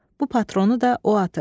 Bu patronu da o atıb.